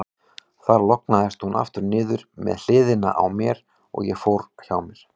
Þar lognaðist hún aftur niður með hliðinni á mér, og ég fór hjá mér.